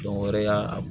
Dɔn wɛrɛ y'a